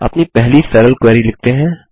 अपनी पहली सरल क्वेरी लिखते हैं